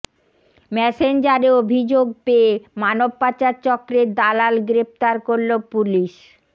মেসেঞ্জারে অভিযোগ পেয়ে মানবপাচার চক্রের দালাল গ্রেফতার করলো পুলিশ